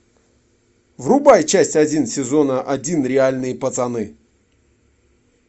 врубай часть один сезона один реальные пацаны